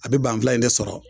A be banfula in de sɔrɔ